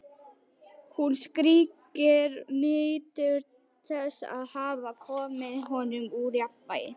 Hún skríkir, nýtur þess að hafa komið honum úr jafnvægi.